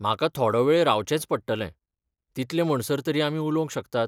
म्हाका थोडो वेळ रावचेंच पडटलें, तितले म्हणसर तरी आमी उलोवंक शकतात.